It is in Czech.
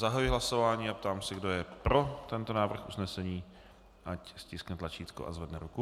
Zahajuji hlasování a ptám se, kdo je pro tento návrh usnesení, ať stiskne tlačítko a zvedne ruku.